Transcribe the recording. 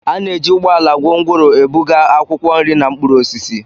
A na-eji ụgbọ ala gongoro ebuga akwụkwọ nri na mkpụrụ osisi.